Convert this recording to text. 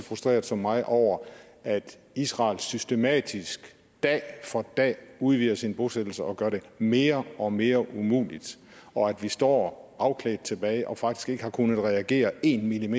frustreret som mig over at israel systematisk dag for dag udvider sine bosættelser og gør det mere og mere umuligt og at vi står afklædt tilbage og faktisk ikke har kunnet reagere en